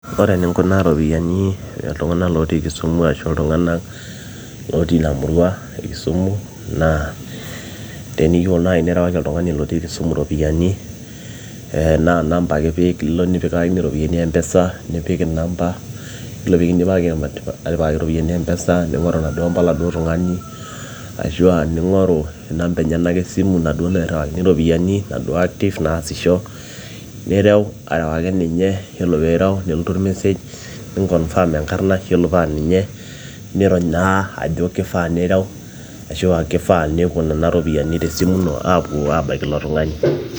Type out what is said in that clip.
ore eninkunaa iropiyiani, iltung'anak lotii kisumu ashu iltung'anak lotii ina murua ekisumu naa teniyieu naaji nirewaki oltung'ani lotii kisumu iropiyiani naa inamba ake ipik ilo nikipikakini iropiyiani mpesa nipik inamba yiolo piikidipaki atipikaki iropiyiani mpesa ning'oru inaduo amba oladuo tung'ani ashua ning'oru inamba enyenak esimu naduo nairriwakini iropiyiani naduo active naasisho nirew arewaki ninye yiolo piirew nelotu or message ninkonfam enkarna yiolo paa ninye nirony naa ajo kifaa nirew ashua kifaa nepuo nena ropiyiani tesimu ino aapuo abaiki ilo tung'ani.